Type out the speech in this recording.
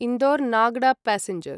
Indore Nagda passenger